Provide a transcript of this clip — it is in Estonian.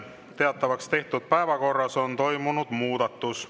Teatavaks tehtud päevakorras on toimunud muudatus.